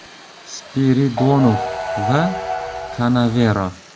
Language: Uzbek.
Spiridonov va Kanavero.